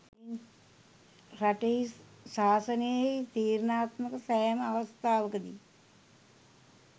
රටෙහි ශාසනයෙහි තීරණාත්මක සෑම අවස්ථාවකදී